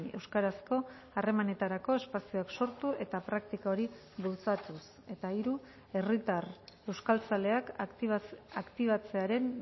euskarazko harremanetarako espazioak sortu eta praktika hori bultzatuz eta hiru herritar euskaltzaleak aktibatzearen